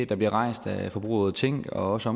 der bliver rejst af forbrugerrådet tænk og også